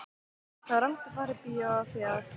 Það var rangt að fara í bíó af því að